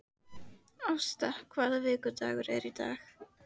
Ásta, hvaða vikudagur er í dag?